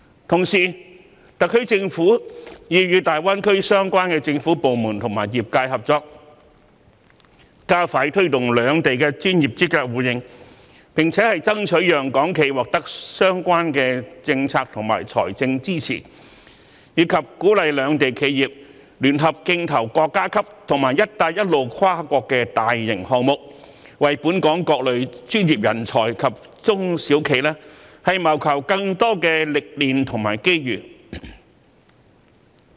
同時，特區政府已與大灣區相關政府部門及業界合作，加快推動兩地的專業資格互認，並且爭取讓港企獲得相關的政策及財政支持，鼓勵兩地企業聯合競投國家級及"一帶一路"跨國大型項目，為本港各類專業人才及中小型企業謀求更多歷練及機遇。